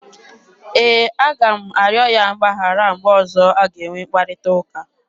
E, a ga m arịọ ya mgbaghara mgbe ọzọ a ga-enwe mkparịta ụka.